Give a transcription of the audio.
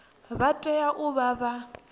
vha tea u vha vha